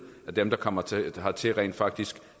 at dem der kommer hertil rent faktisk